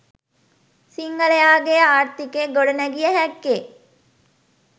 සිංහලයාගේ ආර්ථිකය ගොඩ නැගිය හක්කේ